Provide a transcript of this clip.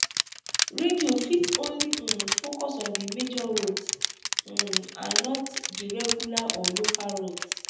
radio fit only um focus on di major roads um and not the regular or local roads